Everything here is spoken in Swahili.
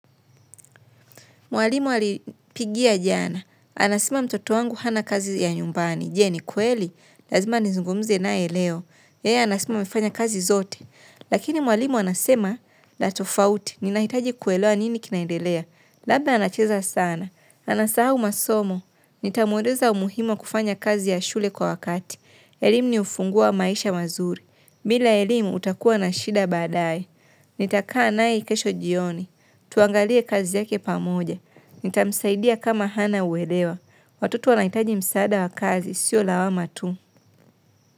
Mwalimu alinipigia jana, anasema mtoto wangu hana kazi ya nyumbani, je ni kweli, lazima nizungumze nae leo, yeye anasema amefanya kazi zote. Lakini mwalimu anasema, la tofauti, ninahitaji kuelewa nini kinaendelea, labda anacheza sana, anasahau masomo, nitamweleza umuhimu wa kufanya kazi ya shule kwa wakati. Elimu ni ufunguo maisha mazuri. Bila elimu utakuwa na shida baadae. Nitakaa nae kesho jioni. Tuangalie kazi yake pamoja. Nitamsaidia kama hana uelewa. Watoto wanaitaji msaada wa kazi, siyo lawama tu.